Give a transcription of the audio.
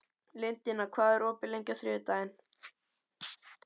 Lydia, hvað er opið lengi á þriðjudaginn?